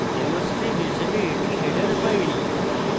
iostream হিসেবে এটি header file